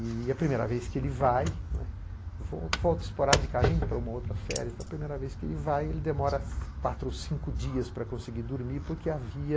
E a primeira vez que ele vai, não é, volta esporadicamente para uma outra féria, então a primeira vez que ele vai ele demora quatro, cinco dias para conseguir dormir porque havia